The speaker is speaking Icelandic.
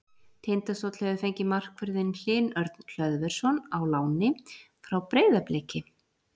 Tindastóll hefur fengið markvörðinn Hlyn Örn Hlöðversson á láni frá Breiðabliki.